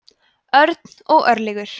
örn og örlygur